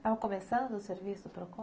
Estava começando o serviço do Procon?